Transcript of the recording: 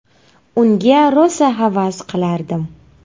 Unga rosa havas qilardim.